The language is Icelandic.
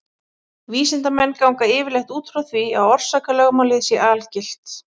Vísindamenn ganga yfirleitt út frá því að orsakalögmálið sé algilt.